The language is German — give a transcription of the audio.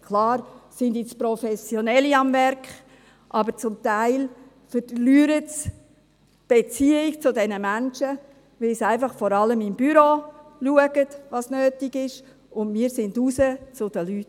Klar sind jetzt Professionelle am Werk, aber zum Teil verlieren sie die Beziehung zu diesen Menschen, weil sie vor allem einfach im Büro schauen, was nötig ist, und wir gingen raus zu den Leuten.